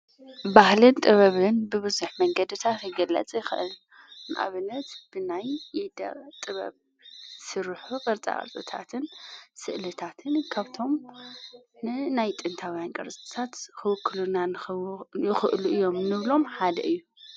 ባህለን ጥበብን ብብዙኅ መንገድ እታ ክግለጽ ይኽእልንኣብነት ብናይ ይደ ጥበብ ሥሩሑ ቕርፃጽታትን ሥእልታትን ካብቶም ንናይ ጥንታውያን ቀርዘሳት ኽውክሉናን ኽእሉ እዮም ኖብሎም ሓደ እዩ።